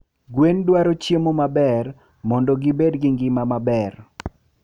Gwen dwaro chiemo maber mando gi bed gi ngima maber.